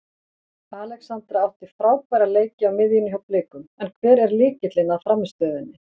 Alexandra átti frábæra leiki á miðjunni hjá Blikum en hver er lykillinn að frammistöðunni?